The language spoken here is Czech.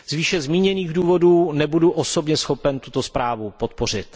Z výše zmíněných důvodů nebudu osobně schopen tuto zprávu podpořit.